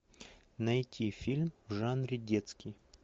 найти фильм в жанре детский